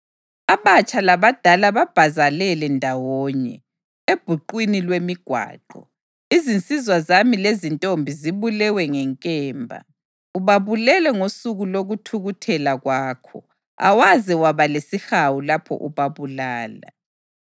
Abatsha labadala babhazalele ndawonye ebhuqwini lwemigwaqo; izinsizwa zami lezintombi zibulewe ngenkemba. Ubabulele ngosuku lokuthukuthela kwakho; awaze waba lesihawu lapho ubabulala.